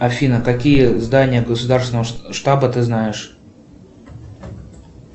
афина какие здания государственного штаба ты знаешь